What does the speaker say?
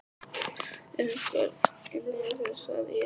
ER EINHVER INNI HJÁ ÞÉR, SAGÐI ÉG?